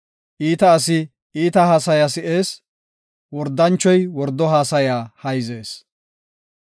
Iita asi iita haasaya si7ees; wordanchoy wordo haasaya hayzees.